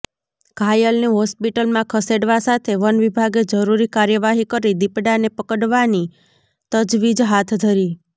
ઘાયલને હોસ્પિટલમાં ખસેડવા સાથે વનવિભાગે જરૂરી કાર્યવાહી કરી દીપડાને પકડવાની તજવીજ હાથ ધરી